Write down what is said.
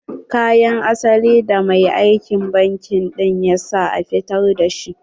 Kayan asalin da mai aikin banki ɗin ya sa ya fitar da shi.